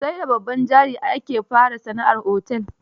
Sai da babban jari ake fara sana'ar otel.